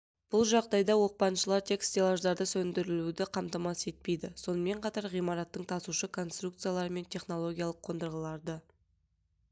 бұл жағдайда оқпаншылар тек стеллаждарды сөндіруді қамтамасыз етпейді сонымен қатар ғимараттың тасушы конструкциялары мен технологиялық қондырғыларды